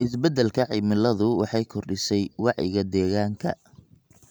Isbeddelka cimiladu waxay kordhisay wacyiga deegaanka.